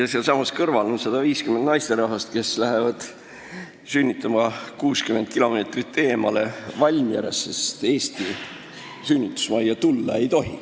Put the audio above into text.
Sealsamas on 150 naisterahvast, kes lähevad sünnitama 60 kilomeetrit eemale Valmierasse, sest Eesti sünnitusmajja tulla ei tohi.